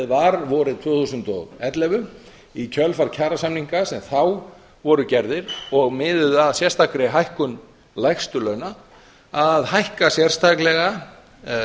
var vorið tvö þúsund og ellefu í kjölfar kjarasamninga sem þá voru gerðir og miðuðu að sérstakri hækkun lægstu launa að hækka sérstaklega